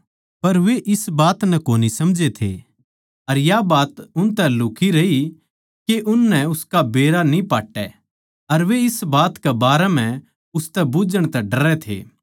पर वे इस बात नै कोनी समझै थे अर या बात उनतै लुक्ही रही के उननै उसका बेरा न्ही पाट्टै अर वे इस बात कै बारै म्ह उसतै बुझ्झण तै डरै थे